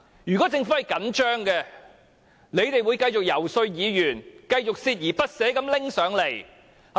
如果政府真的着緊，便會繼續遊說議員，繼續鍥而不捨地提交建議。